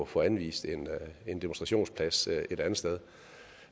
få anvist en demonstrationsplads et andet sted